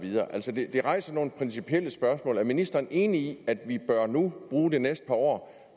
det rejser nogle principielle spørgsmål er ministeren enig i at vi nu bruge de næste par år